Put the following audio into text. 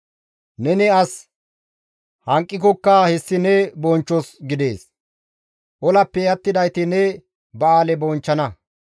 Neni as hanqikokka hessi ne bonchchos gidees; olappe attidayti ne ba7aale bonchchana.